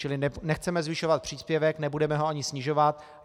Čili nechceme zvyšovat příspěvek, nebudeme ho ani snižovat.